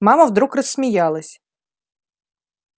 мама вдруг рассмеялась